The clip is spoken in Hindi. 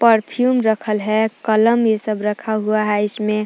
परफ्यूम रखल है कलम ये सब रखा हुआ है इसमे।